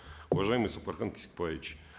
уважаемый сапархан кесикбаевич